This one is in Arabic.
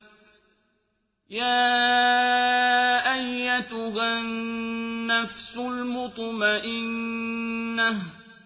يَا أَيَّتُهَا النَّفْسُ الْمُطْمَئِنَّةُ